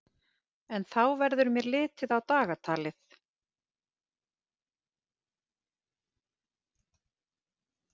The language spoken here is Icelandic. En þá verður mér litið á dagatalið.